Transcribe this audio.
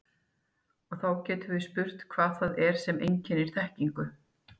Og þá getum við spurt hvað það er sem einkennir þekkingu.